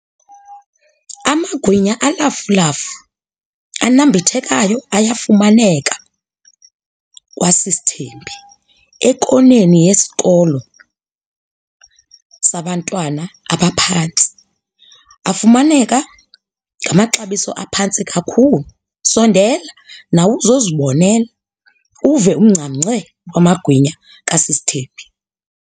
Amagwinya olafulafu anambithekayo ayafumaneka kwaSisThembi ekoneni yesikolo sabantwana abaphantsi. Afumaneka ngamaxabiso aphantsi kakhulu. Sondela nawe uzozibonela, uve ungcamnge kwamagwinya kaSisThembi.